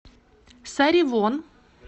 саривон